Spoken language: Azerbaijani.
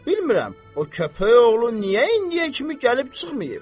Bilmirəm, o kəpəyoğlu niyə indiyə kimi gəlib çıxmayıb.